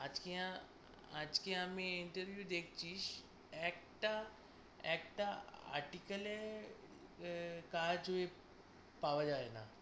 আজকে আ~ আজকে আমি interview এ দেখছিস একটা একটা article এ আহ